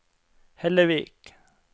Hellevik